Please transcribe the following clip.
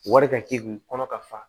Wari ka k'i kun kɔnɔ ka fa